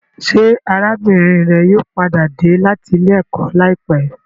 Ṣé arábìnrin rẹ yóò padà dé láti ilé-ẹ̀kọ́ láìpẹ́?